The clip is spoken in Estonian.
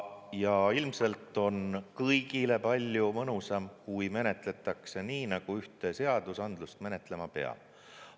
Ja ilmselt on kõigile palju mõnusam, kui menetletakse nii, nagu ühte seadusandlust menetlema peab.